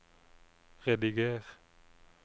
rediger